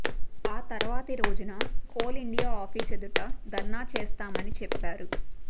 ఆ తర్వాతి రోజున కోల్ ఇండియా ఆఫీస్ ఎదుట ధర్నా చేస్తామని చెప్పారు